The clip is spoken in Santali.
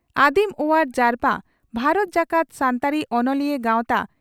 ᱟᱹᱫᱤᱢ ᱚᱣᱟᱨ ᱡᱟᱨᱯᱟ ᱵᱷᱟᱨᱚᱛ ᱡᱟᱠᱟᱛ ᱥᱟᱱᱛᱟᱲᱤ ᱚᱱᱚᱞᱤᱭᱟᱹ ᱜᱟᱶᱛᱟ